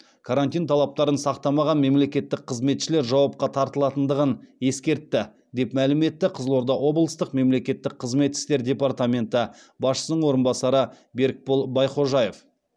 карантин талаптарын сақтамаған мемлекеттік қызметшілер жауапқа тартылатындығын ескертті деп мәлім етті қызылорда облыстық мемлекеттік қызмет істері департаменті басшысының орынбасары берікбол байхожаев